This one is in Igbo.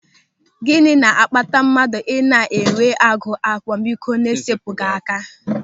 Gịnị na-akpata mmadụ ị na-enwe agụ akwamiko na-esepụghị aka?